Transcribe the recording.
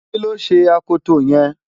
kí ló ṣe akoto yẹn?